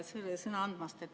Aitäh sõna andmast!